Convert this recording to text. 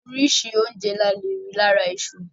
Orísìí oúnjẹ la leè rí lára iṣu.